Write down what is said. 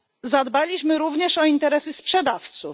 Zadbaliśmy również o interesy sprzedawców.